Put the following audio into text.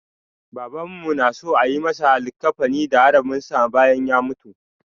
Babanmu na so a yi masa likkafani da haraminsa bayan ya mutu.